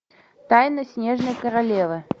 тайна снежной королевы